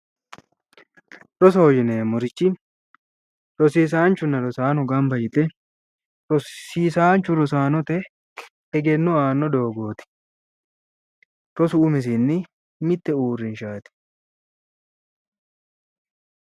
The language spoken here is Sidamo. Rosoho yinneemmorichi rosiisanchuna rosaano gamba yte rosiisanchu rosaanote egenno aano doogoti ,rosu umisinni mite uurrinshati